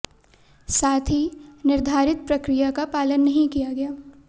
साथ ही निर्धारित प्रक्रिया का पालन नहीं किया गया